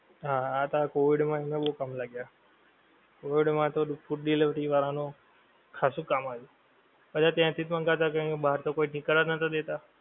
હા આ તો હવે આ Covid માં એમને બઉ કામ લાગ્યા. covid માં તો food delivery વાળાં નું ખાસું કામ આવ્યું. બધા ત્યાંથી જ મંગાવતા કારણ કે બહાર તો કોઈ નીકળવા જ નોતાં દેતા.